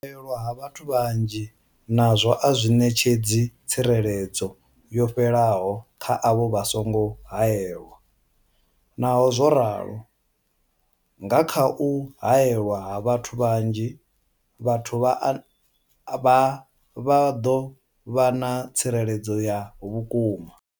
U haelwa ha vhathu vhanzhi nazwo a zwi ṋetshedzi tsireledzo yo fhelaho kha avho vha songo haelwaho, naho zwo ralo, nga kha u haelwa ha vhathu vhanzhi, vhathu avha vha ḓo vha na tsireledzo ya vhukuma.